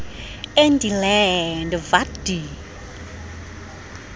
in die land wat die